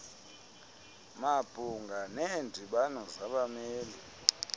mabhunga neendibano zabameli